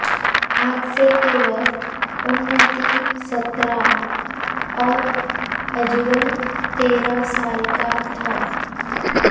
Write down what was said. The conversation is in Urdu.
حادثے کے وقت اننتی سترہ اور اجول تیرہ سال کا تھا